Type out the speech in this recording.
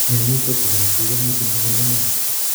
Myonitok bo korotik komiten konyil ang'wan